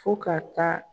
Fo ka taa